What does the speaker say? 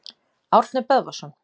Árni Böðvarsson.